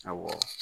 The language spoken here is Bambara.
Awɔ